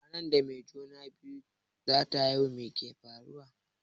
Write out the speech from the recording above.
Ranar da mai juna-biyu zata haihu meke faruwa?